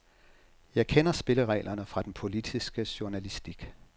Jeg kender spillereglerne fra den politiske journalistik.